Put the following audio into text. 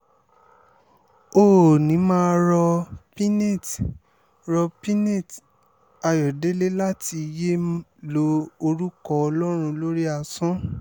ó ní mà á rọ piñate rọ piñate ayọ̀dẹ̀lẹ̀ láti yéé lo orúkọ ọlọ́run lórí asán